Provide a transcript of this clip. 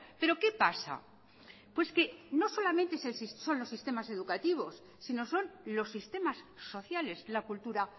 pero qué pasa pues que no solamente son los sistemas educativos sino son los sistemas sociales la cultura